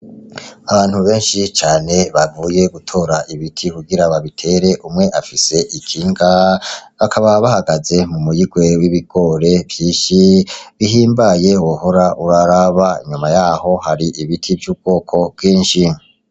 Abantu benshi cane bavuye gutora ibiti kugira babitere, umwe afise ikinga, bakaba bahagaze mu muyigwe w'ibigori vyinshi bihimbaye wohora uraraba. Inyuma yaho hari ibiti vy'ubwoko bwinshi.